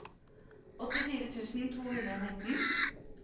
åttifire tusen to hundre og nitten